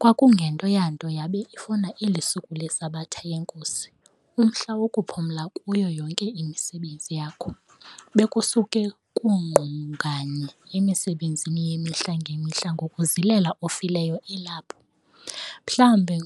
kwakungento yanto yabe ifuna elisuku leSabatha yeNKosi umhla wokuphumla kuyo yonke imisebenzi yakho. Bekusuke kungqunganye emisebenzini yemihla nge mihla ngokuzilela ofileyo elapho, mhlawumbi